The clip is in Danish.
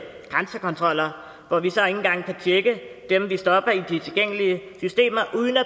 grænsekontroller hvor vi så ikke engang kan tjekke dem vi stopper i de tilgængelige systemer uden at